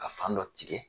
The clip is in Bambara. Ka fan dɔ tigɛ